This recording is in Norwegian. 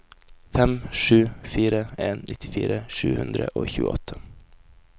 fem sju fire en nittifire sju hundre og tjueåtte